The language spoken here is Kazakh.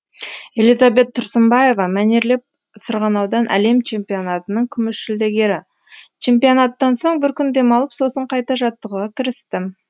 элизабет тұрсынбаева мәнерлеп сырғанаудан әлем чемпионатының күміс жүлдегері чемпионаттан соң бір күн демалып сосын қайта жаттығуға кірістім